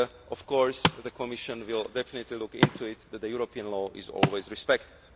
Of course, the Commission will definitely see to it that European law is always respected.